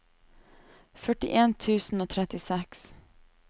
førtien tusen og trettiseks